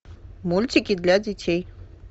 мультики для детей